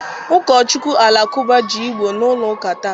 Ụkọchukwu Alakụba ji Igbo n'ụlọ ụka taa.